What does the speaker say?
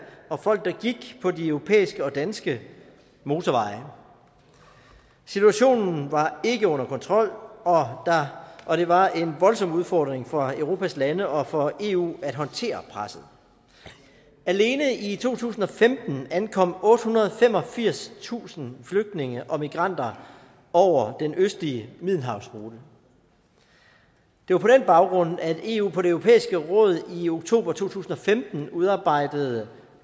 og folk der gik på de europæiske og danske motorveje situationen var ikke under kontrol og det var en voldsom udfordring for europas lande og for eu at håndtere presset alene i to tusind og femten ankom ottehundrede og femogfirstusind flygtninge og migranter over den østlige middelhavsrute det var på den baggrund at eu på det europæiske råd i oktober to tusind og femten udarbejdede